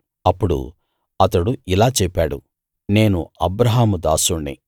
అప్పుడు అతడు ఇలా చెప్పాడు నేను అబ్రాహాము దాసుణ్ణి